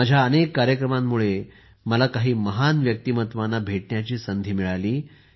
माझ्या अनेक कार्यक्रमांमुळे मला काही महान व्यक्तिमत्त्वांना भेटण्याची संधी मिळाली